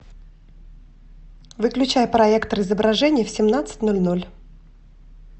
выключай проектор изображений в семнадцать ноль ноль